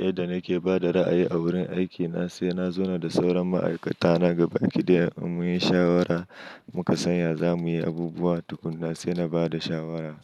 Yadda nake ba da ra'ayi a wurin aikina, sai na zauna da sauran ma'aikata na gaba ɗaya mu yi shawara, muka san ya za mu yi abubuwa, tukuna sai na ba da shawarar